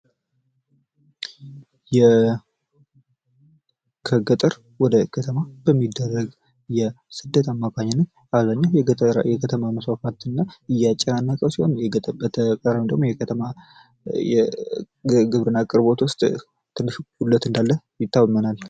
ከገጠር ወደ ከተማ በሚደረግ የስደት